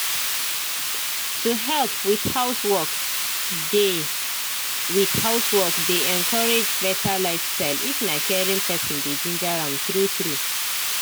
to help with housework dey with housework dey encourage better lifestyle if na caring person dey ginger am true true